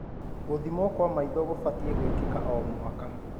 Gũthimwo kwa maitho kũbatie gwĩkika o mwaka.